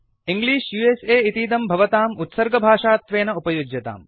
English इतीदं भवताम् उत्सर्गभाषात्वेन उपयुज्यताम्